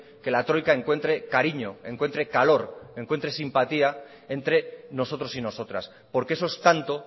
que la troika encuentre cariño encuentre calor encuentre simpatía entre nosotros y nosotras porque eso es tanto